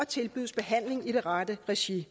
tilbydes behandling i det rette regi det